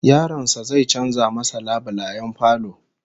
Yaron sa zai canza masa labulayen falo